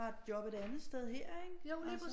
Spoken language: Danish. Et job et anden sted her ikke